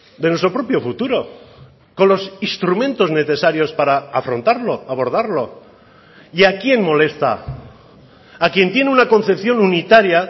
de nuestro propio futuro con los instrumentos necesarios para afrontarlo abordarlo y a quién molesta a quien tiene una concepción unitaria